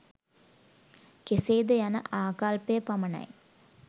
කෙසේ ද යන ආකල්පය පමණයි.